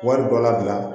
Wari dɔ labila